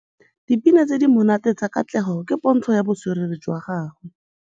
Dipina tse di monate tsa Katlego ke pôntshô ya botswerere jwa gagwe.